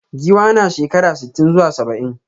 Giwa na shekara sitin zuwa saba'in.